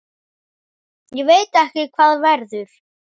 Ég veit ekki hvað verður.